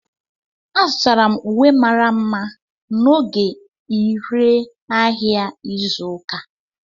Azụtara m uwe mara mma n'oge ire ahịa izu ụka.